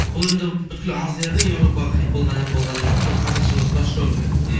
бұл енді бүткіл азияға европаға хит болған ән болғаннан кейін бұл қазақша нұсқасы жоқ екен ммм